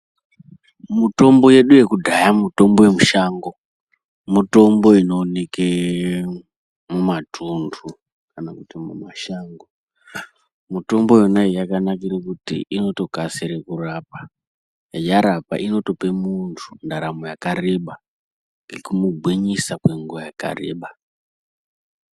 Mutombo yedu yekudhaya mutombo ye mushango mutombo ino oneke mu matundu kana kuti mu mashango mutombo yona iyi yakanakira kuti inoto kasire kurapa yarapa inotope muntu ndaramo yakareba nekumu gwinyisa kwe nguva yaka reba.